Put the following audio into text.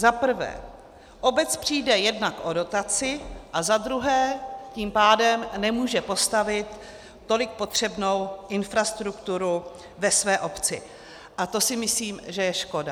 Za prvé, obec přijde jednak o dotaci, a za druhé tím pádem nemůže postavit tolik potřebnou infrastrukturu ve své obci a to si myslím, že je škoda.